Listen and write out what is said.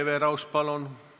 Hele Everaus, palun!